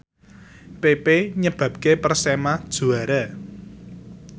pepe nyebabke Persema juara